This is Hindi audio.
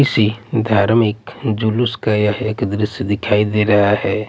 किसी धार्मिक जुलूस का यह एक द्रश्य दिखाई दे रहा हैं।